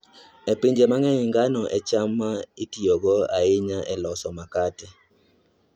E pinje mang'eny, ngano e cham ma itiyogo ahinya e loso makate.